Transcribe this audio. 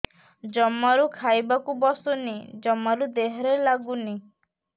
ଜମାରୁ ଖାଇବାକୁ ବସୁନି ଜମାରୁ ଦେହରେ ଲାଗୁନି